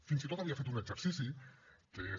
fins i tot havia fet un exercici que és